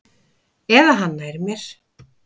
Eða hann nær mér.